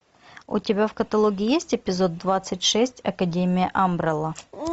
у тебя в каталоге есть эпизод двадцать шесть академия амбрелла